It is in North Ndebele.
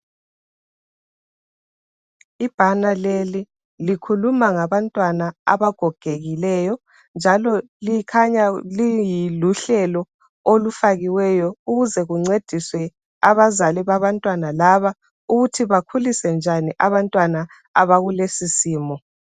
Ibhana leli likhuluma ngabantwana abagokekileyo njalo likhanya liyi luhlelo olufakiweyo ukuze kuncediswe abazali babantwana laba ukuthi bakhulise njani abantwana abakulesi simo.